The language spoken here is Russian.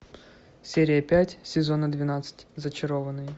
серия пять сезона двенадцать зачарованные